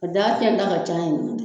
A daa cɛn ta ka ca